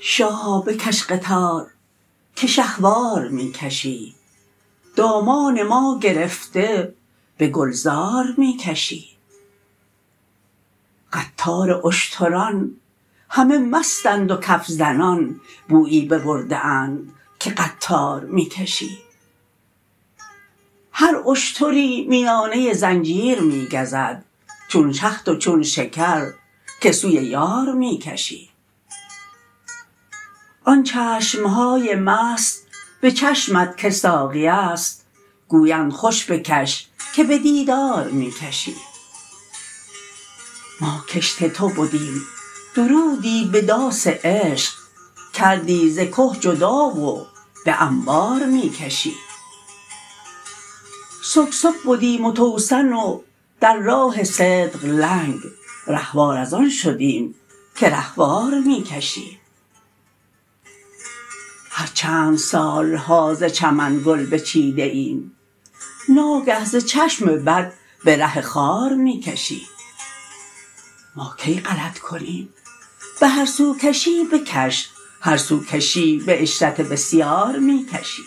شاها بکش قطار که شهوار می کشی دامان ما گرفته به گلزار می کشی قطار اشتران همه مستند و کف زنان بویی ببرده اند که قطار می کشی هر اشتری میانه زنجیر می گزد چون شهد و چون شکر که سوی یار می کشی آن چشم های مست به چشمت که ساقی است گویند خوش بکش که به دیدار می کشی ما کشت تو بدیم درودی به داس عشق کردی ز که جدا و به انبار می کشی سکسک بدیم و توسن و در راه صدق لنگ رهوار از آن شدیم که رهوار می کشی هر چند سال ها ز چمن گل بچیده ایم ناگه ز چشم بد به ره خار می کشی ما کی غلط کنیم به هر سو کشی بکش هر سو کشی به عشرت بسیار می کشی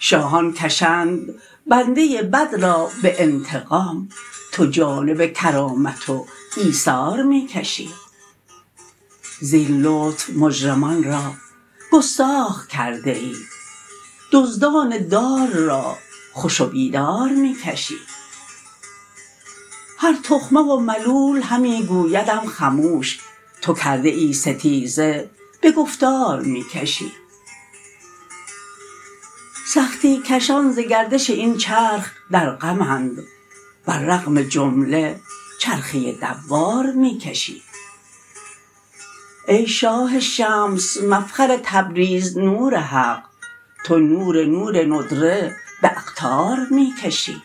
شاهان کشند بنده بد را به انتقام تو جانب کرامت و ایثار می کشی زین لطف مجرمان را گستاخ کرده ای دزدان دار را خوش و بی دار می کشی هر تخمه و ملول همی گویدم خموش تو کرده ای ستیزه به گفتار می کشی سختی کشان ز گردش این چرخ در غم اند بر رغم جمله چرخه دوار می کشی ای شاه شمس مفخر تبریز نور حق تو نور نور ندره به اقطار می کشی